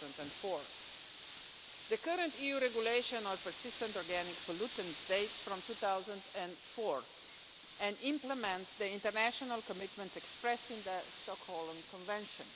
2004. The current EU Regulation on Persistent Organic Pollutants dates from 2004 and implements the international commitments expressed in the Stockholm Convention.